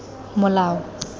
molao